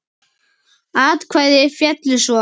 Atkvæði féllu svo